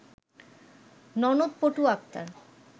ননদ পটু আক্তার